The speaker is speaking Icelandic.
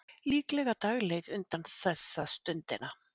Líklega dagleið undan þessa stundina.